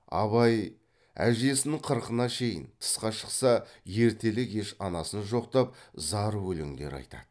абай әжесінің қырқына шейін тысқа шықса ертелі кеш анасын жоқтап зар өлеңдер айтады